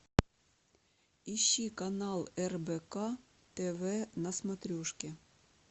ищи канал рбк тв на смотрешке